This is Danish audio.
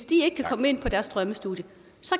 de kan komme ind på deres drømmestudie